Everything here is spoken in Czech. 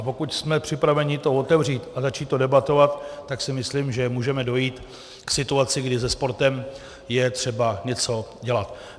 A pokud jsme připraveni to otevřít a začít to debatovat, tak si myslím, že můžeme dojít k situaci, kdy se sportem je třeba něco dělat.